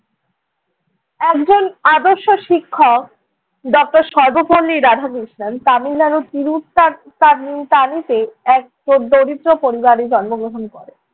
একজন আদর্শ শিক্ষক doctor সর্বপল্লী রাধাকৃষ্ণণ তামিলনাড়ুর তিরু ত~ তা~ তার~ তাণিতে এক দরিদ্র পরিবারে জন্মগ্রহণ করেন।